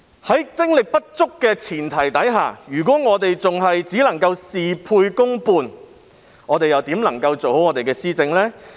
在精力有限的前提下，政府只能事倍功半，那如何能夠做好施政呢？